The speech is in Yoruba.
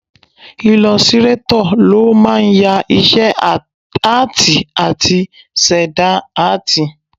Ilọsirátọ̀ ló máa ń ya iṣẹ́ áàtì àti ṣẹ̀dá áàtì